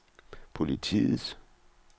politiets